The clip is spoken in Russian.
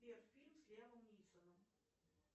сбер фильм с лиамом нисоном